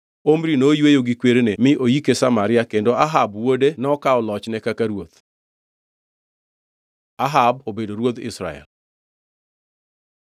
Omri noyweyo gi kwerene mi noyike Samaria, kendo Ahab wuode nokawo lochne kaka ruoth. Ahab obedo ruodh Israel